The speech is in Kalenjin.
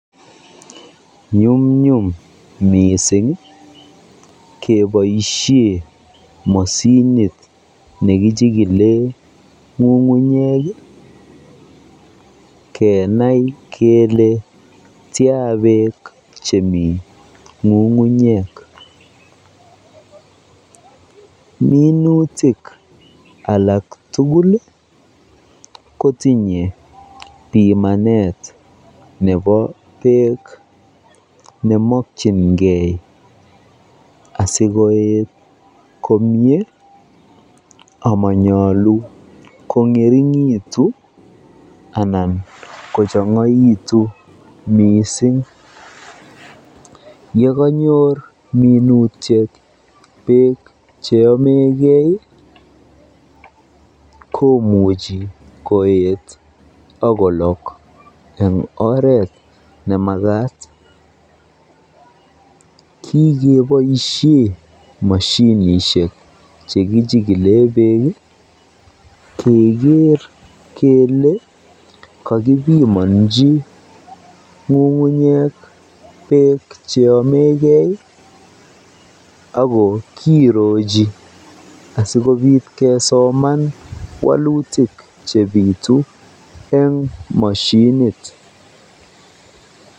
Nyumnyum mising keboishen moshinit nekichikilen ng'ung'unyek kenai kelee tian beek chemii ng'ung'unyek, minutik alak tukul kotinye bimanet nebo beek nemokyinge asikoet komnye amanyalu kongeringitu anan kochongoitun mising, yekonyor minutiet beek cheyomekei komuche koet ak kolok en oreet nemakat, kikeboishen moshinishek chekichikilen beek keker kelee kokibimonji ng'ung'unyek beek cheyomeke ak ko kirochi asikobit kesoman wolutik chebitu eng moshinit.